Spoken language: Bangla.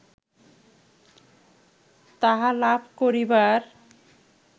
তাহা লাভ করিবার